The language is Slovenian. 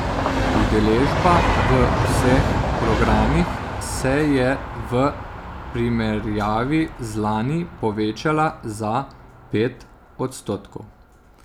Udeležba v vseh programih se je v primerjavi z lani povečala za pet odstotkov.